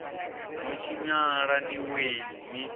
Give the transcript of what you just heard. no tshinyala ni wee ni